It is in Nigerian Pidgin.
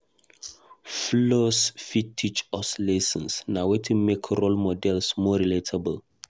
Flaws fit teach us lessons; na wetin make role models more relatable.